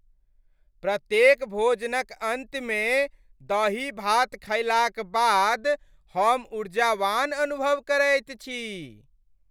प्रत्येक भोजनक अन्तमे दही भात खयलाक बाद हम ऊर्जावान अनुभव करैत छी।